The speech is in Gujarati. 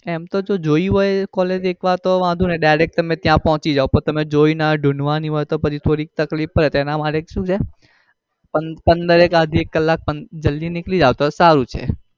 એમ તો તમે જોઈ હોય collage એક વાર તો વાંધો નઈ direct તમે ત્યાં પોચી જાઓ પણ તમે જોઈ ના હોય અને ઢુંઢુવાની હોય તો પછી થોડી તકલીફ પડે તો એના માટે શું છે કે પંદર એક આધિ એક કલાલ જલ્દી નીકળી જાઓ તો સારું છે.